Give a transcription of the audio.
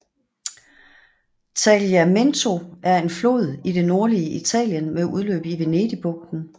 Tagliamento er en flod i det nordlige Italien med udløb i Venedigbugten